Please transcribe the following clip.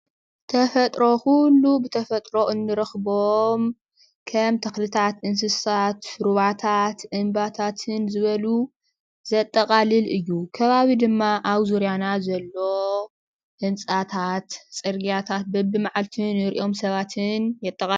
ተፍጥሮ ኩሉ ብተፈጥሮ እንረክቦ ከም ተክሊታት እንስሳት፣ ሩባታት እምባታትን ዝበሉ ዘጠቃልል እዩ። ከባቢ ድማ ኣብ ዙሩያና ዘሎ ህንፃታት ፣ፅርግያታት፣ በቢመዓልቱ ንርእዬም ሰባትን የጠቃልሉ።